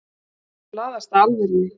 Hún laðast að alvörunni.